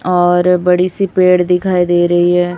और बड़ी सी पेड़ दिखाई दे रही है।